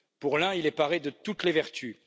L'un est paré de toutes les vertus.